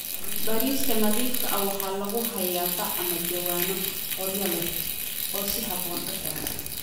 Bariiska nadiifka ah waxaa lagu hayaa bac ama jawaanno qoryo leh oo si habboon u xiran.